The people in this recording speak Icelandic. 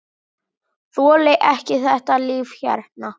Þoli ekki þetta líf hérna.